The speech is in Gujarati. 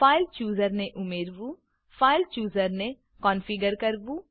ફાઇલ ચૂઝર ફાઈલ ચુઝર ને ઉમેરવું ફાઇલ ચૂઝર ફાઈલ ચુઝર ને કોનફીગર કરવું